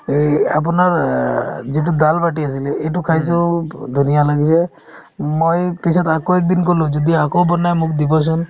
এই আপোনাৰ অ যিটো dal bati আছিলে এইটো খাইছো ধুনীয়া লাগিছে মই পিছত আকৌ এদিন ক'লো যদি আকৌ বনাই মোক দিবচোন